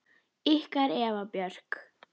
Ykkar Eva Björk.